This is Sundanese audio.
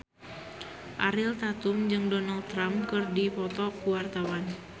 Ariel Tatum jeung Donald Trump keur dipoto ku wartawan